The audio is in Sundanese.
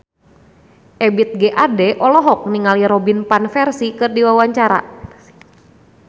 Ebith G. Ade olohok ningali Robin Van Persie keur diwawancara